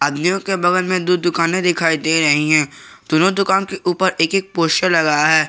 आदमियों के बगल में दु दुकाने दिखाई दे रही हैं दोनों दुकान के ऊपर एक एक पोस्टर लगा है।